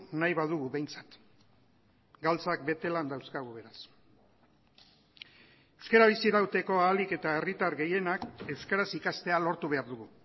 nahi badugu behintzat galtzak bete lan dauzkagu beraz euskara bizirauteko ahalik eta herritar gehienak euskaraz ikastea lortu behar dugu